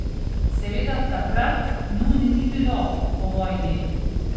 Seveda takrat nun ni bilo, po vojni.